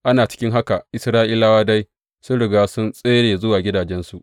Ana cikin haka, Isra’ilawa dai sun riga sun tsere zuwa gidajensu.